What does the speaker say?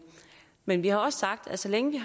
men vi har også sagt at så længe